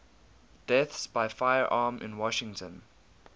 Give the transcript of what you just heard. deaths by firearm in washington